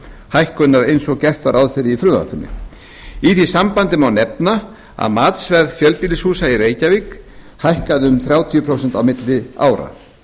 hækkunar eins og gert er ráð fyrir í frumvarpinu í því sambandi má nefna að matsverð fjölbýlishúsa í reykjavík hækkaði um þrjátíu prósent á milli ára